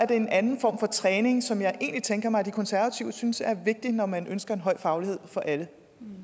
det er en anden form for træning som jeg egentlig tænker mig at de konservative synes er vigtig når man ønsker en høj faglighed for alle